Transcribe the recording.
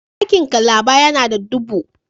Dakin Calaba ya na da dubu.